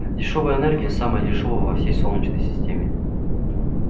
дешёвая энергия самая дешёвая во всей солнечной системе